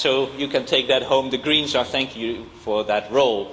You can take that home the Greens thank you for that role.